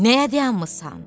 Nəyə dayanmısan?